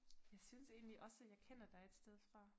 Jeg synes egentlig også jeg kender dig et sted fra